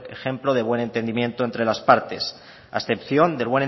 ejemplo de buen entendimiento entre las partes a excepción del